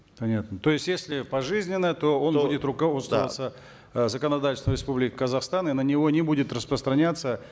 понятно то есть если пожизненно то он будет руководствоваться э законодательством республики казахстан и на него не будет распространяться